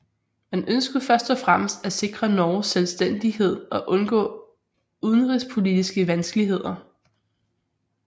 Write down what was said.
Man ønskede først og fremmest at sikre Norges selvstændighed og undgå udenrigspolitiske vanskeligheder